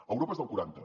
a europa és del quaranta